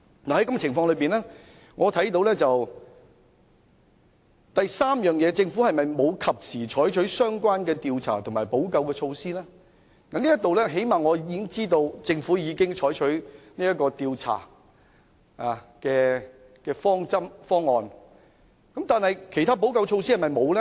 在這樣的情況之下，就第三方面，政府有否及時採取相關調查及補救措施？我最低限度知道政府已經採取調查的方案，但是否沒有做其他補救措施？